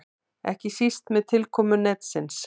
Ekki síst með tilkomu netsins.